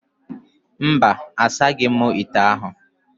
Mba, asaghị m ite ahụ